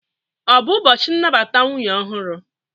Ọ bụ ụbọchị nnabata nwunye ọhụrụ?